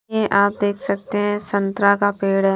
ये आप देख सकते है संतरा का पेड़ है।